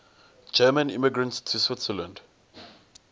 german immigrants to switzerland